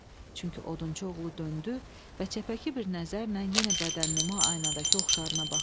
Çünki odunçu oğlu döndü və çəpəki bir nəzərlə yenə bədənnüma aynadakı oxşarına baxdı.